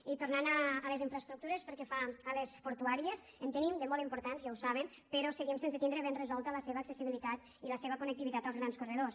i tornant a les infraestructures pel que fa a les portuàries en tenim de molt importants ja ho saben però seguim sense tindre ben resolta la seva accessibilitat i la seva connectivitat amb els grans corredors